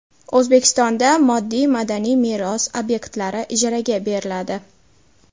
O‘zbekistonda moddiy madaniy meros obyektlari ijaraga beriladi.